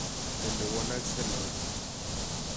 Ielewanaske nato.